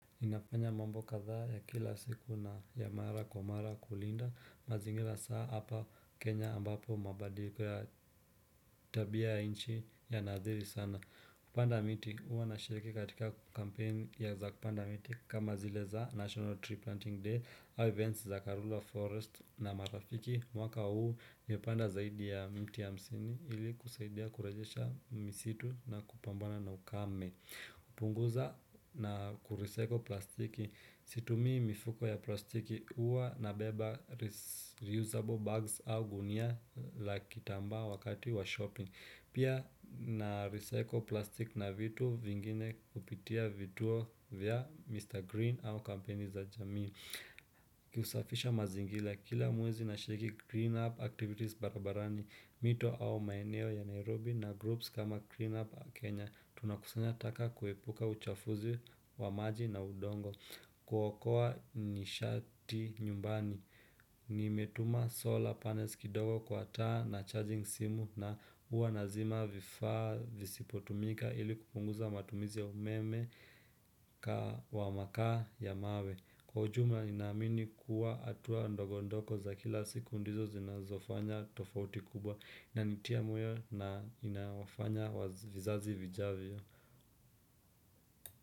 Inafanya mambo kadha ya kila siku na ya mara kwa mara kulinda mazingira saa hapa kenya ambapo mabadiliko ya tabia inchi ya naziri sana. Kupanda miti huwa nashiriki katika kampeni ya za kupanda miti kama zile za National Tree Planting day au events za Karura Forest na marafiki mwaka huu nipanda zaidi ya mti ya msini ili kusaidia kurejesha misitu na kupambana na ukame. Upunguza na kurecycle plastiki situmi mifuko ya plastiki uwa na beba reusable bags au gunia la kitamba wakati wa shopping Pia narecycle plastiki na vitu vingine upitia vituo vya Mr. Green au kampeni za jamin Kiusafisha mazingila kila mwezi nashiriki clean up activities barabarani mito au maeneo ya Nairobi na groups kama clean up Kenya Tunakusanya taka kuepuka uchafuzi wa maji na udongo kukua nishati nyumbani Nimetuma solar panels kidogo kwa taa na charging simu na uanazima vifaa visipotumika ili kupunguza matumizi ya umeme Kwa makaa ya mawe Kwa ujumla inamini kuwa hatua ndogo ndogo za kila siku ndizo zinazofanya tofauti kubwa na nitia moyo na inawafanya vizazi vijavyo.